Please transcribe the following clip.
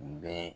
Bɛɛ